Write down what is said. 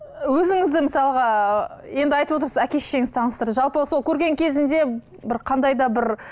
өзіңізді мысалға енді айтып отырсыз әке шешеңіз таныстырды жалпы сол көрген кезінде бір қандай да бір